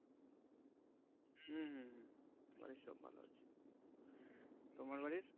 হম হম হম বাড়ির সব ভালো আছে তোমার বাড়ির